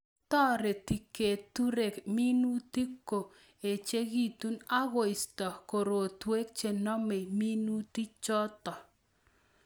Toreti keturek minutik ko echikitu akoisto korotwek chenomei. minutichoto